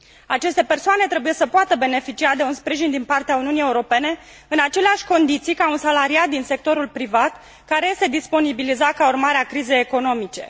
Aceste persoane trebuie să poată beneficia de un sprijin din partea Uniunii Europene în aceleași condiții ca un salariat din sectorul privat, care este disponibilizat ca urmare a crizei economice.